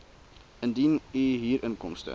indien u huurinkomste